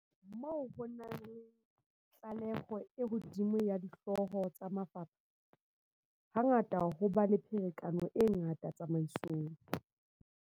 Moo ho nang le tahlehelo e hodimo ya dihlooho tsa mafapha, ha ngata ho ba le pherekano e ngata tsamaisong.